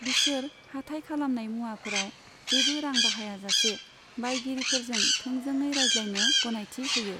बिसोर हाथाइ खालामनाय मुवाफोराव जेबो रां बाहायाजासे बायगिरिफोरजों थोंजोङै रायज्लायनो गनायथि होयो।